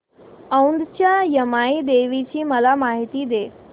औंधच्या यमाई देवीची मला माहिती दे